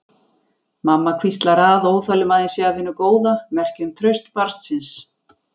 Mamma hvíslar að óþolinmæðin sé af hinu góða, merki um traust barnsins.